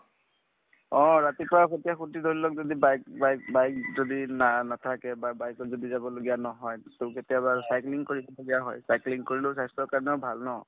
অ, ৰাতিপুৱা ধৰি লওক যদি bike bike bike যদি না নাথাকে বা bike ত যদি যাবলগীয়া নহয় so কেতিয়াবা cycling কৰি যোৱা হয় cycling কৰিলো স্বাস্থ্যৰ কাৰণেও ভাল ন